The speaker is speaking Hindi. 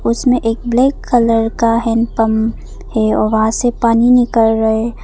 उसमें एक ब्लैक कलर का हैंडपंप है और वहां से पानी निकल रहा है।